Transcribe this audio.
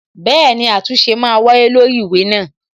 Bẹẹni, àtúnṣe ma wáyé lórí ìwé náà